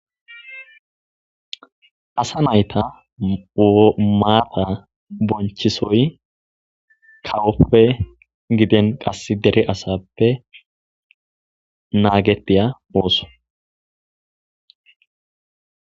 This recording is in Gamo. Asa nayta maata bonchisoy kawoppe giden qass dere asappe naagetiya ooso.